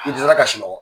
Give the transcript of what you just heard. N tɛ se ka sunɔgɔ